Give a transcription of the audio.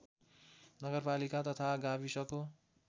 नगरपालिका तथा गाविसको